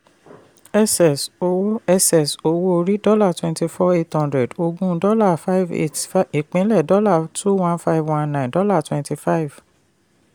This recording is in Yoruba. ss owó ss owó orí dollar twenty four eight hundred oògùn dollar five eight ìpínlè dollar two one five one nine dollar twenty five